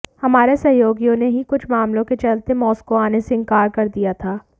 हमारे सहयोगियों ने ही कुछ मामलों के चलते मॉस्को आने से इन्कार कर दिया था